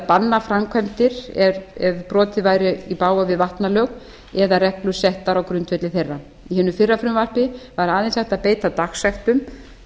banna framkvæmdir ef brotið væri í bága við vatnalög eða reglur settar á grundvelli þeirra í hinu fyrra frumvarpi væri aðeins hægt að beita dagsektum